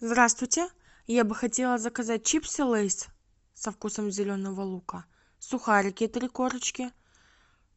здравствуйте я бы хотела заказать чипсы лейс со вкусом зеленого лука сухарики три корочки